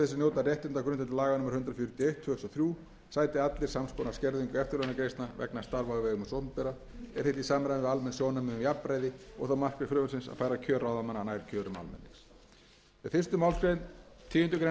þúsund og þrjú sæti allir sams konar skerðingu eftirlaunagreiðslna vegna starfa á vegum hins opinbera er þetta í samræmi við almenn sjónarmið um jafnræði og það markmið frumvarpsins að færa kjör ráðamanna nær kjörum almennings um tíundu greinar með fyrstu málsgreinar tíundu greinar frumvarpsins